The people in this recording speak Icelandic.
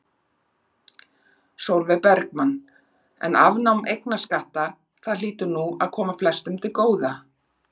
Sólveig Bergmann: En afnám eignarskatta, það hlýtur nú að koma flestum til góða?